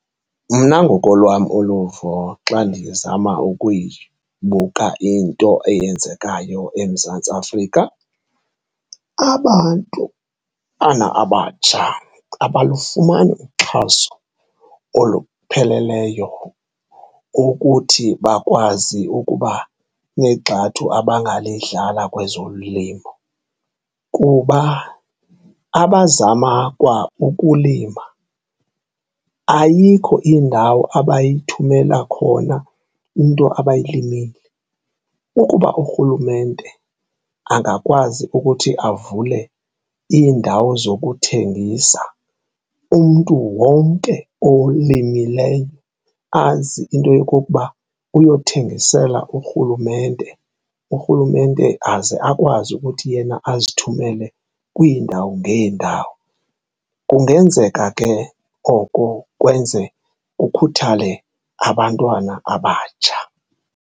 Mna ngokolwam uluvo xa ndizama ukuyibuka into eyenzekayo eMzantsi Afrika, abantu abatsha abalufumani uxhaso olupheleleyo ukuthi bakwazi ukuba negxathu abangalidlala kwezolimo kuba abazama kwa ukulima ayikho indawo abayithumela khona into abayilimile. Ukuba urhulumente angakwazi ukuthi avule iindawo zokuthengisa, umntu wonke olimileyo azi into yokokuba uyothengisela urhulumente, urhulumente aze akwazi ukuthi yena azithumele kwiindawo ngeendawo, kungenzeka ke oko kwenze kukhuthale abantwana abatsha.